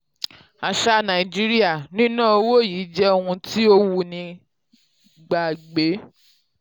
aṣà nàìjíríà: níná owó yìí jẹ́ ohun tí ó wúni gbàgbé. um